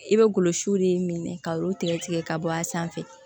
I bɛ golo siw de minɛ ka olu tigɛ tigɛ ka bɔ a sanfɛ